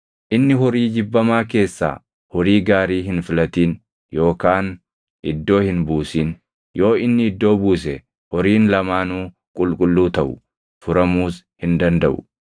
Inni horii jibbamaa keessaa horii gaarii hin filatin yookaan iddoo hin buusin; yoo inni iddoo buuse horiin lamaanuu qulqulluu taʼu; furamuus hin dandaʼu.’ ”